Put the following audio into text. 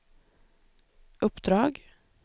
uppdrag